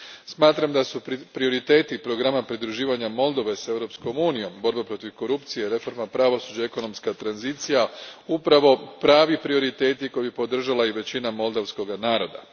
Smatram da su prioriteti programa pridruživanja Moldove s EU om, borba protiv korupcije, reforma pravosuđa, ekonomska tranzicija upravo pravi prioriteti koje bi podržala i većina moldovskoga naroda.